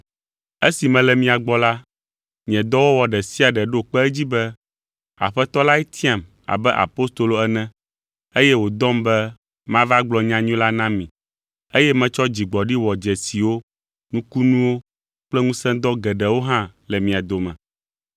Esi mele mia gbɔ la, nye dɔwɔwɔ ɖe sia ɖe ɖo kpe edzi be Aƒetɔ lae tiam abe apostolo ene, eye wòdɔm be mava gblɔ nyanyui la na mi, eye metsɔ dzigbɔɖi wɔ dzesiwo, nukunuwo kple ŋusẽdɔ geɖewo hã le mia dome.